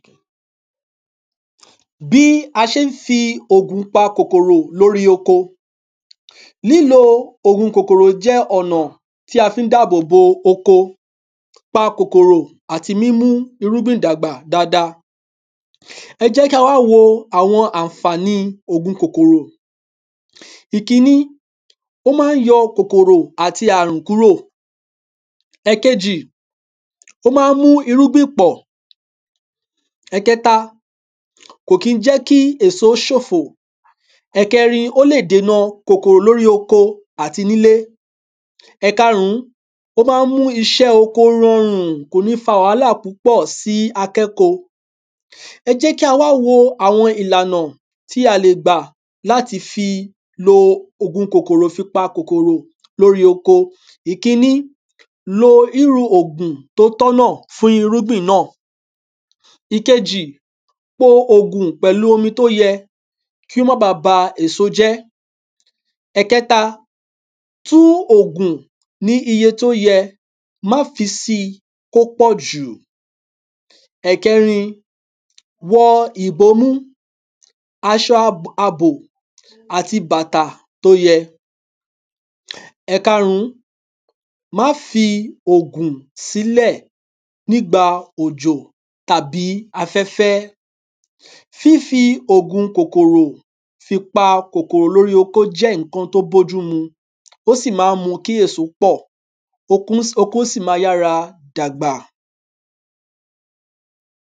bí a ṣé n fi ògùn pa kòkòrò lórí oko lílo ògun kòkòrò jẹ́ ònà tí a fí n dàbòbo oko pa kòkòrò àti mímú irúgbìn dàgbà dada? ẹjẹ́kí á wá wọ àwọn ànfààní ògun kòkòrò? ìkíní ó má n yọ kòkòrò àti ààrùn kúrò ẹ̀kejì? ẹ̀kejì ó má n mú ìrúgbìn pọ̀ ẹ̀kẹta kò kí n jẹ́ kí èso ṣòfò ẹ̀kẹrin ó lè dèna kòkòrò lórí oko àti nilé ẹ̀karún ó má n mú iṣẹ́ oko rọrùn kò ní fa wàhálà pú pọ̀ sí akẹ́ko? ẹjẹ́kí a wá wo àwọn ìlànà tí a lè gbà láti fi lo ògun kòkòrò fi pa kòkòrò lórí ko ìkíní lo iru ògùn tó tọ́nà fún irúgbìn nà ìkejì po ògùn pẹ̀lú omi tó yẹ kí ó má ba ba èso jẹ́ ẹ̀kẹta tú ògùn ní iye tó yẹ má fi si kó pọ̀jù ẹ̀kẹrin wọ ìbomú aṣo ab abọ̀ àti bàtà tó yẹ? ẹ̀karùn má fi ògùn sílè nígba òjò tàbí afẹ́fẹ́ fífi ògun kòkòkò fi pa kòkòrò lórí oko jẹ́ nnkan tó bójú mu ó sì má n mu kí ẹ̀so pọ̀ okún sì okún sì ma yára dàgbà